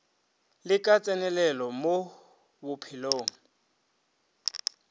le ka tsenelelo mo bophelong